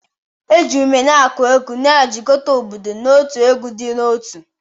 Eji ume na-akụ egwu, na-ejikọta obodo n'otu egwu dị n'otu